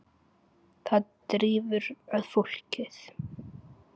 Það drífur að fólkið.